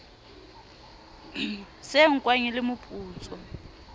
se nkwang e le mputso